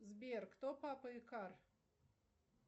сбер кто папа икар